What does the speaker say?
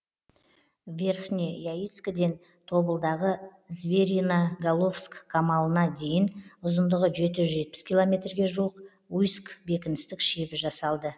верхне яицкіден тобылдағы звериноголовск қамалына дейін ұзындығы жеті жүз жетпіс километрге жуық уйск бекіністік шебі жасалды